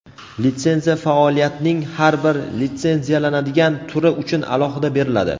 litsenziya faoliyatning har bir litsenziyalanadigan turi uchun alohida beriladi.